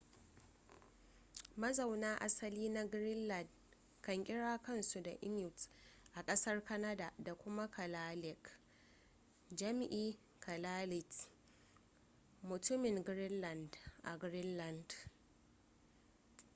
mazaunan asali na greenland kan kira kansu da inuit a ƙasar canada da kuma kalaalleq jam’i kalaallit mutumin greenland a greenland